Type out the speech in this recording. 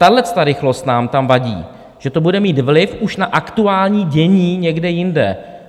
Tahleta rychlost nám tam vadí, že to bude mít vliv už na aktuální dění někde jinde.